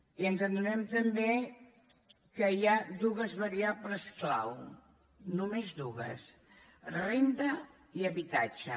i ens adonem també que hi ha dues variables clau només dues renda i habitatge